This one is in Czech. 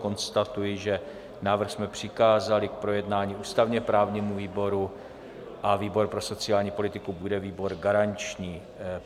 Konstatuji, že návrh jsme přikázali k projednání ústavně-právnímu výboru a výbor pro sociální politiku bude výbor garanční.